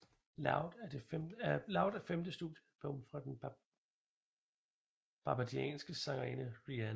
Loud er femte studiealbum fra den barbadianske sangerinde Rihanna